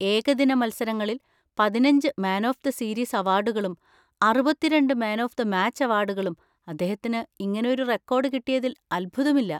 ഏകദിന മത്സരങ്ങളിൽ പതിനഞ്ച് മാൻ ഓഫ് ദ സീരീസ് അവാർഡുകളും അറുപത്തിരണ്ട് മാൻ ഓഫ് ദ മാച്ച് അവാർഡുകളും; അദ്ദേഹത്തിന് ഇങ്ങനൊരു റെക്കോർഡ് കിട്ടിയതിൽ അത്ഭുതമില്ല.